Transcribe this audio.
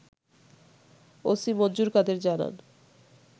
OC Manjur Kader জানান